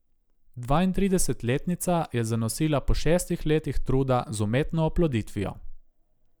Dvaintridesetletnica je zanosila po šestih letih truda z umetno oploditvijo.